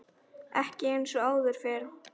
Ekki eins og áður fyrr.